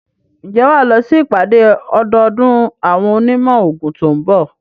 Ǹjẹ́ wà á lọ sí ìpàdé ọdọọdún àwọn onímọ̀ òògùn tó ń bọ̀?